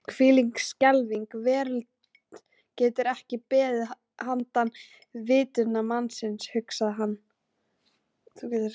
Hvílík skelfileg veröld getur ekki beðið handan vitundar mannsins, hugsaði hann.